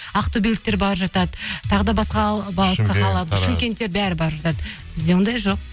ақтөбеліктер барып жатады тағы да басқа шымкенттер бәрі барып жатады бізде ондай жоқ